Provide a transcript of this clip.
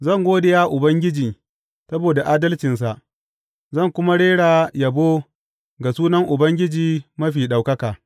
Zan gode wa Ubangiji saboda adalcinsa zan kuma rera yabo ga sunan Ubangiji Mafi Ɗaukaka.